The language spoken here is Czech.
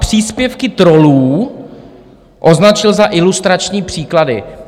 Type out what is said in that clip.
Příspěvky trollů označil za ilustrační příklady.